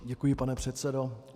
Děkuji, pane předsedo.